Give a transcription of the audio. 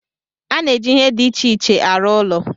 A na-eji ihe dị iche iche arụ ụlọ